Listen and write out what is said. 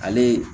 Ale